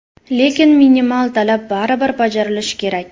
Lekin minimal talab baribir bajarilishi kerak.